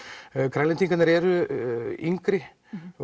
Grænlendingarnir eru yngri